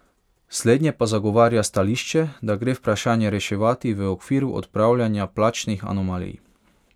Slednje pa zagovarja stališče, da gre vprašanje reševati v okviru odpravljanja plačnih anomalij.